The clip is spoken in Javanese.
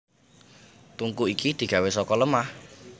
Tungku iki digawé saka lemah